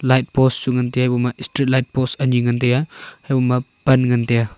light post chu ngantaiya iboma street light post ani ngantaiya haiboma pan ngantaiya.